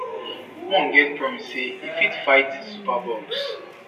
one get promise say e fit fight superbugs